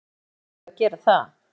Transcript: Auðvitað hlytu þau að gera það.